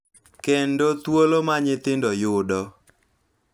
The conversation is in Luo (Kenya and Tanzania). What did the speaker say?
Kendo thuolo ma nyithindo yudo.